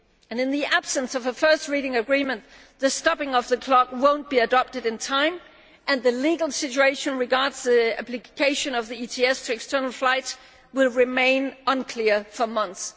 In the absence of a first reading agreement, the stopping of the clock would not be adopted in time and the legal situation regarding the application of the ETS to external flights would remain unclear for months.